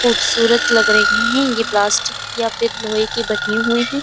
खूबसूरत लग रही है ये प्लास्टिक या फिर लोहे की बनी हुई है।